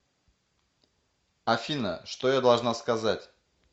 афина что я должна сказать